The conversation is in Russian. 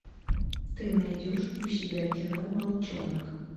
ты найдешь у себя кино волчонок